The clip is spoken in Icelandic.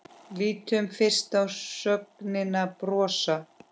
Lítum fyrst á sögnina brosa: